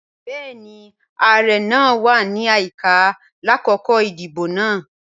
Bẹẹni, ààrẹ naa wa ni ayika lakoko idibo naa.